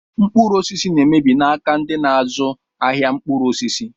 Mkpụrụ osisi na emebi n'aka ndị n'azụ ahịa mkpụrụ osisi.